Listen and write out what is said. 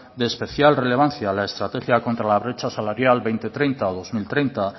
de especial relevancia a la estrategia contra la brecha salarial dos mil treinta